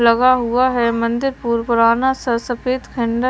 लगा हुआ है मंदिर पुर पुराना सा सफेद खंड--